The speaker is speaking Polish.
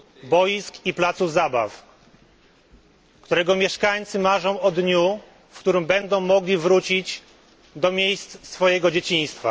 boisk i placów zabaw którego mieszkańcy marzą o dniu, w którym będą mogli wrócić do miejsc swojego dzieciństwa.